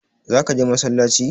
Za ka je massalaci?